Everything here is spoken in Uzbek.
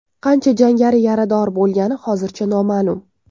Qancha jangari yarador bo‘lgani hozircha noma’lum.